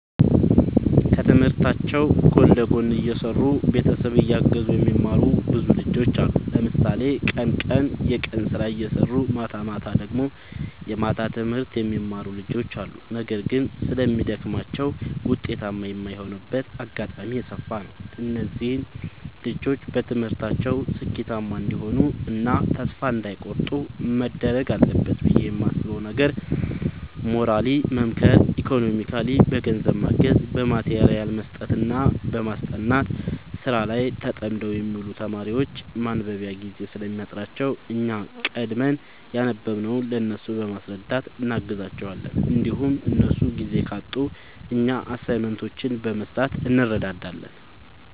ከትምህርታቸው ጎን ለጎን እየሰሩ ቤተሰብ እያገዙ የሚማሩ ብዙ ልጆች አሉ። ለምሳሌ ቀን ቀን የቀን ስራ እየሰሩ ማታማታ ደግሞ የማታ ትምህርት የሚማሩ ልጆች አሉ። ነገር ግን ስለሚደግማቸው ውጤታማ የማይሆኑበት አጋጣሚ የሰፋ ነው። እነዚህ ልጆች በትምህርታቸው ስኬታማ እንዲሆኑ እና ተስፋ እንዳይ ቆርጡ መደረግ አለበት ብዬ የማስበው ነገር ሞራሊ መምከር ኢኮኖሚካሊ በገንዘብ ማገዝ በማቴሪያል መስጠትና ማስጠናት። ስራ ላይ ተጠምደው የሚውሉ ተማሪዎች ማንበቢያ ጊዜ ስለሚያጥራቸው እኛ ቀድመን ያነበብንውን ለእነሱ በማስረዳት እናግዛቸዋለን እንዲሁም እነሱ ጊዜ ካጡ እኛ አሳይመንቶችን በመስራት እንረዳዳለን